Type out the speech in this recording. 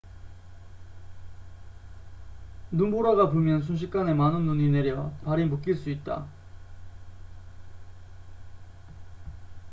눈보라가 불면 순식간에 많은 눈이 내려 발이 묶일 수 있다